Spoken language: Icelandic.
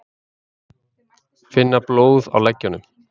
Finna blóð á leggjunum.